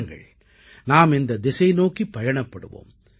வாருங்கள் நாம் இந்தத் திசை நோக்கிப் பயணப்படுவோம்